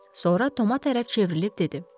Sonra Toma tərəf çevrilib dedi.